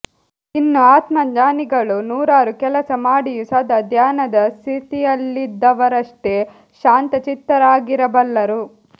ಇನ್ನು ಆತ್ಮಜ್ಞಾನಿಗಳು ನೂರಾರು ಕೆಲಸ ಮಾಡಿಯೂ ಸದಾ ಧ್ಯಾನದ ಸ್ಥಿತಿಯಲ್ಲಿದ್ದವರಷ್ಟೆ ಶಾಂತಚಿತ್ತರಾಗಿರಬಲ್ಲರು